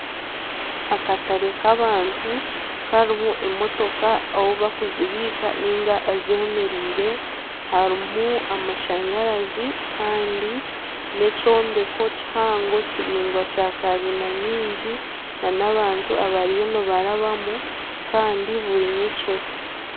Akatare k'abantu karimu emotoka ahu barikuzibiika ninga zemereire. Harimu amashanyarazi kandi n'ekyombeko kihango kiringwa kyakanyina nyingi na n'abantu abariyo nibarabamu Kandi buri nyekiro